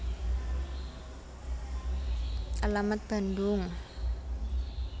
Alamat Bandung